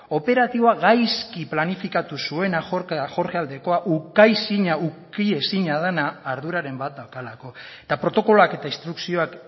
operatiboa gaizki planifikatu zuena jorge aldekoa ukiezina dena arduraren bat daukalako eta protokoloak eta instrukzioak